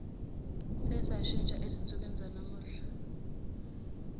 sesashintsha ezinsukwini zanamuhla